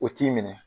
O t'i minɛ